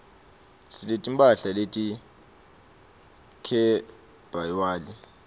sineti mphahla leti khebywali